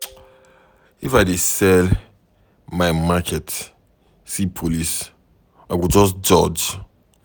If I dey sell my market see police, I go just dodge.